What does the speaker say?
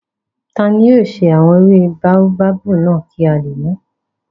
Tani yóò ṣe àwọn ewé báóbábù náà kí a lè mùú?